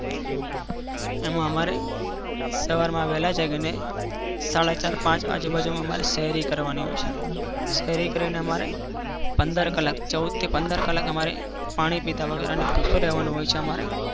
એમાં અમારે આવેલા છે. સવાર માં વેળા જાગીને સાડા પાંચ આજુબાજુ અમારે શહેરી કરવા ની હોય છે. શહેરી કરી ને અમારે ચૌદ થી પંદર કલાક અમારે પાણી પીધા વગર ભુખીયું રહેવાનું હોય છે અમારે